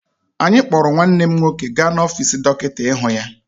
Anyị kpọrọ nwanne m nwoke gaa n'ọfiisi dọkịta ịhụ ya.